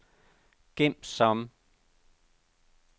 gem som